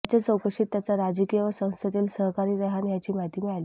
त्याच्या चौकशीत त्याचा राजकीय व संस्थेतील सहकारी रेहान याची माहिती मिळाली